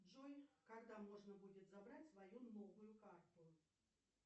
джой когда можно будет забрать свою новую карту